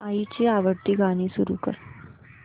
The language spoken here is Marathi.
आईची आवडती गाणी सुरू कर